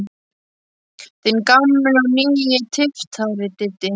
Þinn gamli og nýi tyftari, Diddi.